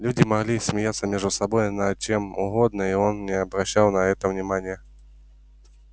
люди могли смеяться между собой над чем угодно и он не обращал на это внимания